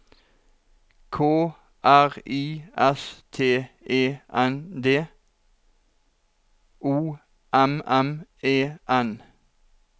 K R I S T E N D O M M E N